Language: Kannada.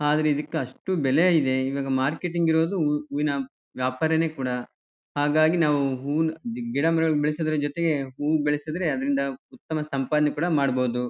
ಆದ್ರ ಇದಿಕ್ ಅಷ್ಟು ಬೆಲೆ ಇದೆ ಇವಾಗ ಮಾರ್ಕೆಟಿಂಗ್ ಇರದು ಹೂ ಹೂವಿನ ವ್ಯಾಪಾರನೆ ಕೂಡ ಹಾಗಾಗಿ ನಾವು ಹೂವಿನ ಗಿಡ ಮರಗಳ್ ಬೆಲ್ಸ್ವ್ಡ್ ಜೊತೆಗೆ ಹೂ ಬೆಲ್ಸುದ್ರೆ ಅದ್ರಿಂದ ಉತ್ತಮ ಸಂಪಾದನೆ ಕೂಡ ಮಾಡಬೋದು.